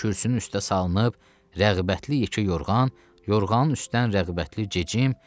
Kürsünün üstə salınıb rəğbətli yekə yorğan, yorğanın üstdən rəğbətli gecim.